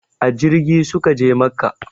A jirgi su ka je makka